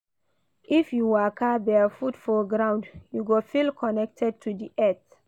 If you waka barefoot for ground, you go feel connected to di earth.